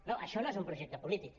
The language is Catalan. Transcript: no això no és un projecte polític